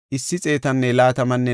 Paskora yarati 1,247;